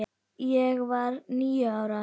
Ég var níu ára.